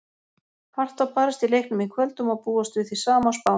Hart var barist í leiknum í kvöld og má búast við því sama á Spáni.